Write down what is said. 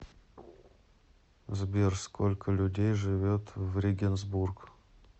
сбер сколько людей живет в регенсбург